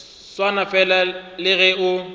swana fela le ge o